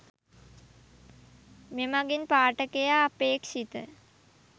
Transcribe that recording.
මෙමඟින් පාඨකයා අපේක්‍ෂිත